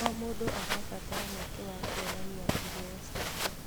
O mũndũ arabatara mweke wa kuonania iheo ciake.